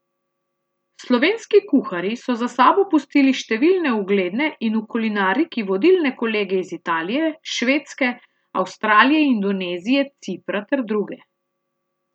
Slovenski kuharji so za sabo pustili številne ugledne in v kulinariki vodilne kolege iz Italije, Švedske, Avstralije, Indonezije, Cipra ter druge.